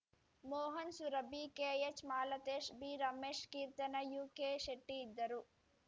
Mohan Surabhi ಕೆಎಚ್‌ಮಾಲತೇಶ್‌ B Ramesh Keerthana ಯುಕೆಶೆಟ್ಟಿಇದ್ದರು